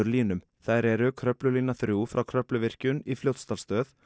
línum þær eru Kröflulína þrír frá Kröfluvirkjun í Fljótsdalsstöð